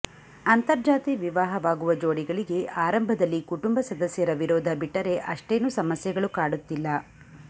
ಅಂತಜಾರ್ತಿ ವಿವಾಹವಾಗುವ ಜೋಡಿಗಳಿಗೆ ಆರಂಭದಲ್ಲಿ ಕುಟುಂಬ ಸದಸ್ಯರ ವಿರೋಧ ಬಿಟ್ಟರೆ ಅಷ್ಟೇನು ಸಮಸ್ಯೆಗಳು ಕಾಡುತ್ತಿಲ್ಲ